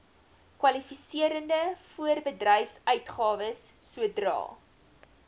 kwalifiserende voorbedryfsuitgawes sodra